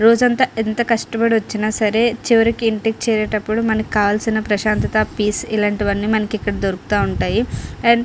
రోజు అంత ఎంత కష్టపడివచ్చిన సరే చివరికి ఇంటికి చేరేటపుడు మనకి కావలసిన ప్రశాంతాత పీస్ ఇలాంటివివని మనకి ఎక్కడ దొరుకుతూ ఉంటాయి.